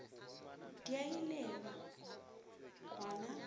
di a ilelwa go na